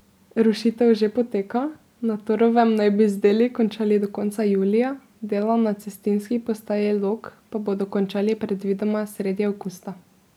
Rušitev že poteka, na Torovem naj bi z deli končali do konca julija, dela na cestninski postaji Log pa bodo končali predvidoma sredi avgusta.